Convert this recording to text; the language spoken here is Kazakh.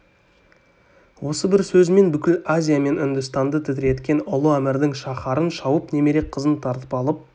осы бір сөзімен бүкіл азия мен үндістанды тітіреткен ұлы әмірдің шаһарын шауып немере қызын тартып алып